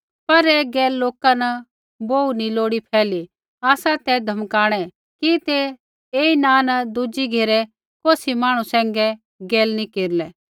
पर ऐ गैल लोका न बोहू नी लोड़ी फैली आसा ते धमकाणै कि ते ऐई नाँ न दुज़ी घेरै कौसी मांहणु सैंघै गैल नी केरलै